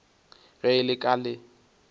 ge e le ka le